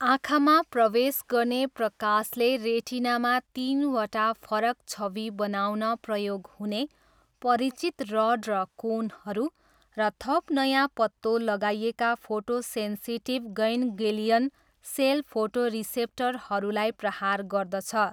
आँखामा प्रवेश गर्ने प्रकाशले रेटिनामा तिनवटा फरक छवि बनाउन प्रयोग हुने परिचित रड र कोनहरू र थप नयाँ पत्तो लगाइएका फोटोसेन्सिटिभ गैन्ग्लियन सेल फोटोरिसेप्टरहरूलाई प्रहार गर्दछ।